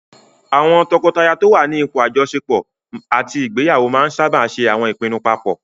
Àwọn tọkọtaya tó n wà ní ipò àjọṣepọ̀ àti ìgbéyàwó máa n sáábà ṣe àwọn ìpinnu paapọ̀